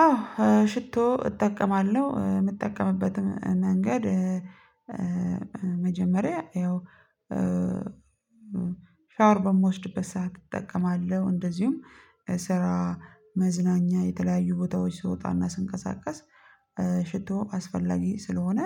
አዎ፣ ሽቶ እጠቀማለሁ። የምጠቀምበትም መንገድ መጀመሪያ ያው ሻወር በምወስድበት ሰዓት እጠቀማለሁ። እንደዚሁም ስራ፣ መዝናኛ የተለያዩ ቦታዎች ስወጣና ስንቀሳቀስ አስፈላጊ ስለሆነ